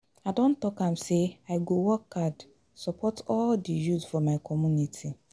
I don talk am say I go work hard support all di youth for my community.